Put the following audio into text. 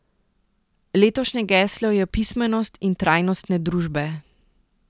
Letošnje geslo je Pismenost in trajnostne družbe.